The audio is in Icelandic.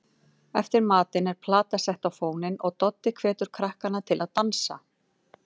Eftir matinn er plata sett á fóninn og Doddi hvetur krakkana til að dansa.